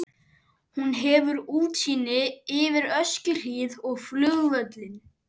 Hún hefur útsýni yfir Öskjuhlíð og flugvöllinn.